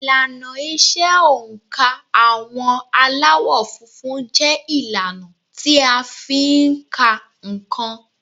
Ìlànà ìṣe oǹkà àwọn Aláwọ̀ funfun jẹ́ ìlànà tí a fi ń ka nǹkan